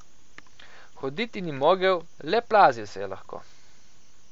Hoditi ni mogel, le plazil se je lahko.